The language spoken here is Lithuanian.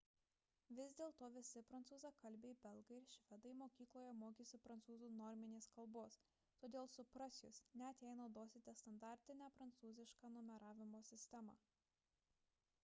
vis dėlto visi prancūzakalbiai belgai ir švedai mokykloje mokėsi prancūzų norminės kalbos todėl supras jus net jei naudosite standartinę prancūzišką numeravimo sistemą